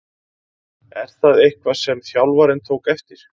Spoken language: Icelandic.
Er það eitthvað sem þjálfarinn tók eftir?